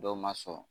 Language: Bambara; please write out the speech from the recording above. Dɔw ma sɔn